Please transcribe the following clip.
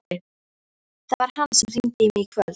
Það var hann sem hringdi í mig í kvöld.